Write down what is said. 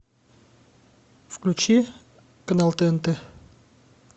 включи канал тнт